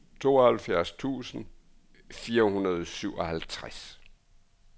tooghalvfjerds tusind fire hundrede og syvoghalvtreds